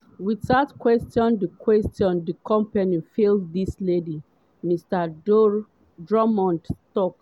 without question di question di company fail dis ladies” mr drummond tok.